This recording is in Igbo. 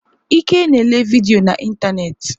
Ike na ele vidiyo na ịntanetị.